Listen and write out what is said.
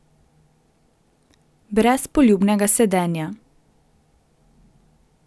Brez poljubnega sedenja.